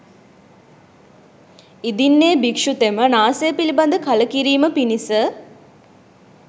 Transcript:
ඉදින් එ භික්‍ෂුතෙම නාසය පිළිබඳ කලකිරීම පිණිස